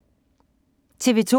TV 2